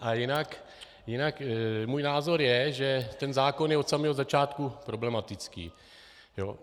A jinak můj názor je, že ten zákon je od samého začátku problematický.